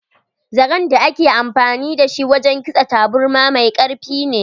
Zaren da ake amfani da shi wajen kitsa taburma mai karfi ne.